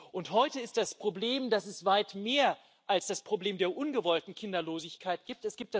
Und heute ist das Problem, dass es weit mehr als das Problem der ungewollten Kinderlosigkeit gibt.